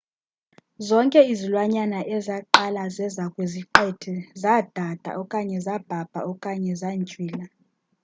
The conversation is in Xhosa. zonke izilwanyana ezaqala zeza kwiziqithi zadada okanye zabhabha okanye zantywila